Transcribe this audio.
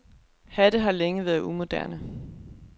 Hatte har længe været umoderne.